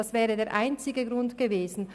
Das wäre der einzige Grund gewesen.